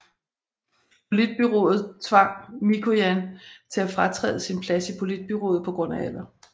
Politbureauet tvang Mikojan til at fratræde sin plads i politbureauet på grund af alder